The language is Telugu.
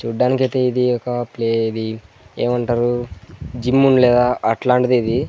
చూడ్డానికి అయితే ఇది ఒక ప్లే ఇది ఏమంటారు జిమ్ ఉండ్లేదా అట్లాంటిదే ఇది.